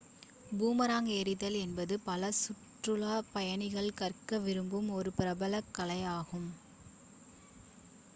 boomerang எறிதல் என்பது பல சுற்றுலாப் பயணிகள் கற்க விரும்பும் ஒரு பிரபலக் கலையாகும்